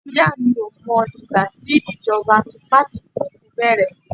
ìyá mi ko mọ ìgbà tí ìjọba tipatikuuku bẹrẹ